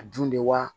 A dun de wa